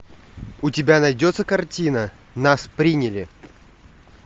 у тебя найдется картина нас приняли